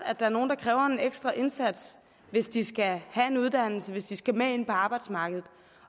at der er nogen der kræver en ekstra indsats hvis de skal have en uddannelse hvis de skal med ind på arbejdsmarkedet